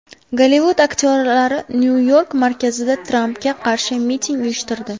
Gollivud aktyorlari Nyu-York markazida Trampga qarshi miting uyushtirdi.